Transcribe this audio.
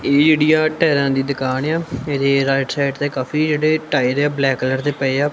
ਇਹ ਇੰਡੀਆ ਟਾਇਰਾਂ ਦੀ ਦੁਕਾਨ ਆ ਇਦੇ ਰਾਈਟ ਸਾਈਡ ਤੇ ਕਾਫੀ ਜਿਹੜੇ ਟਾਇਰ ਆ ਬਲੈਕ ਕਲਰ ਦੇ ਪਏ ਆ।